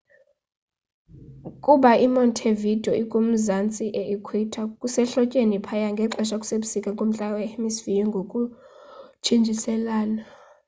kuba i montevideo ikumazanzi e equator kusehlotyeni phaya ngelixa kusebusika kumantla e hemisphere ngokuntshintshiselana